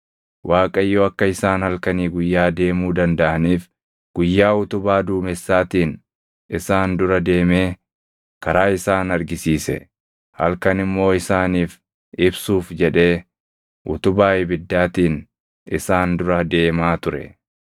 Waaqayyo akka isaan halkanii guyyaa deemuu dandaʼaniif guyyaa utubaa duumessaatiin isaan dura deemee karaa isaan argisiise; halkan immoo isaaniif ibsuuf jedhee utubaa ibiddaatiin isaan dura deemaa ture.